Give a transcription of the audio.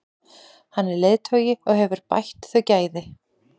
Hann er leiðtogi og hefur bætt þau gæði.